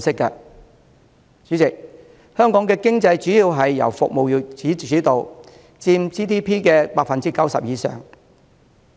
代理主席，香港的經濟主要由服務業主導，佔 GDP 的 90% 以上。